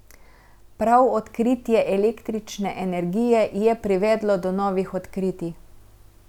Prav odkritje električne energije je privedlo do novih odkritij.